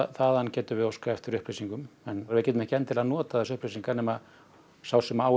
þaðan getum við óskað eftir upplýsingum en við getum ekki endilega notað upplýsingarnar nema sá sem á